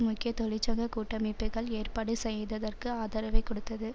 முக்கிய தொழிற்சங்க கூட்டமைப்புக்கள் ஏற்பாடு செய்திருந்ததற்கு ஆதரவைக் கொடுத்தது